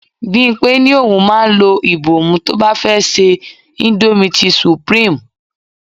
Bimpe ní òun máa ń lo ibomu tó bá fẹ́ se indomie ti supreme.